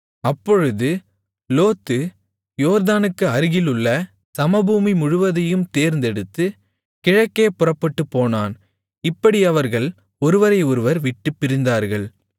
அப்பொழுது லோத்து யோர்தானுக்கு அருகிலுள்ள சமபூமி முழுவதையும் தேர்ந்தெடுத்து கிழக்கே புறப்பட்டுப்போனான் இப்படி அவர்கள் ஒருவரை ஒருவர் விட்டுப் பிரிந்தார்கள்